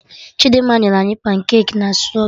Chidimma nyere anyị pancaki na straberri